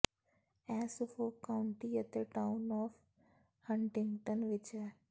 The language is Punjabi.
ਇਹ ਸੁਫੋਕ ਕਾਉਂਟੀ ਅਤੇ ਟਾਊਨ ਆਫ ਹੰਟਿੰਗਟਨ ਵਿਚ ਹੈ